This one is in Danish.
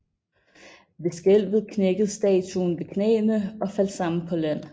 Ved skælvet knækkede statuen ved knæene og faldt sammen på land